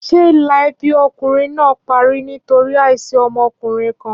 Ṣé ìlà ẹbí ọkùnrin náà parí nítorí àìsí ọmọkùnrin kan?